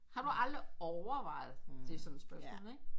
Har du overvejet det sådan spørgsmålet ikke